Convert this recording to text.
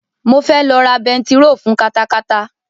Mo fẹ́ lọ ra bentiro fun katakata